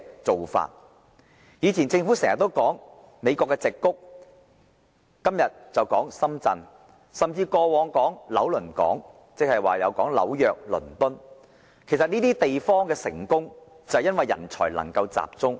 政府以往經常提及美國矽谷，今天則說深圳，過往也提及紐約、倫敦，這些地方的成功正是因為人才能夠集中。